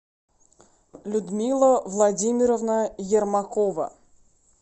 людмила владимировна ермакова